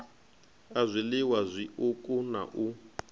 a zwiliwa zwiuku na u